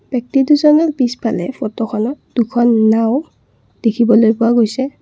ব্যক্তি দুজনৰ পিছফালে ফটোখনত দুখন নাওঁ দেখিবলৈ পোৱা গৈছে